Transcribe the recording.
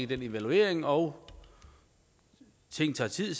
den evaluering og ting tager tid